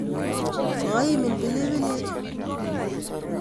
Koimin pilipilik?